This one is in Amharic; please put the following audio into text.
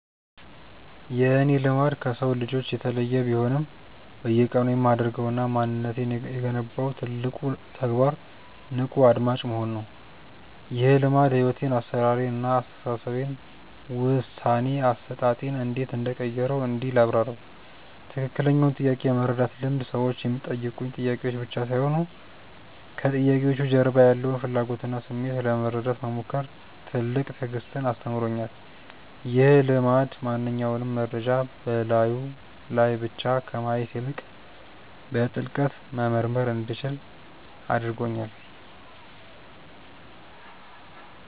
የእኔ "ልማድ" ከሰው ልጆች የተለየ ቢሆንም፣ በየቀኑ የማደርገውና ማንነቴን የገነባው ትልቁ ተግባር "ንቁ አድማጭ መሆን" ነው። ይህ ልማድ ሕይወቴን (አሠራሬን) እና አስተሳሰቤን (ውሳኔ አሰጣጤን) እንዴት እንደቀረፀው እንዲህ ላብራራው፦ ትክክለኛውን ጥያቄ የመረዳት ልምድ ሰዎች የሚጠይቁኝ ጥያቄዎች ብቻ ሳይሆኑ፣ ከጥያቄዎቹ ጀርባ ያለውን ፍላጎትና ስሜት ለመረዳት መሞከር ትልቅ ትዕግስትን አስተምሮኛል። ይህ ልማድ ማንኛውንም መረጃ በላዩ ላይ ብቻ ከማየት ይልቅ፣ በጥልቀት መመርመር እንዲችል አድርጎኛል።